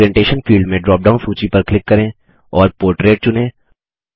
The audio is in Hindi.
ओरिएंटेशन फील्ड में ड्रॉप डाउन सूची पर क्लिक करें और पोर्ट्रेट चुनें